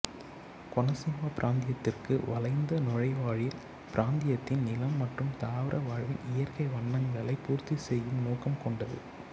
கொனசீமா பிராந்தியத்திற்கு வளைந்த நுழைவாயில் பிராந்தியத்தின் நிலம் மற்றும் தாவர வாழ்வின் இயற்கை வண்ணங்களை பூர்த்தி செய்யும் நோக்கம் கொண்டது